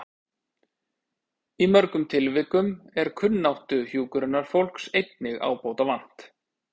Í mörgum tilvikum er kunnáttu hjúkrunarfólks einnig ábótavant.